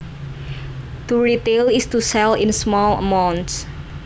To retail is to sell in small amounts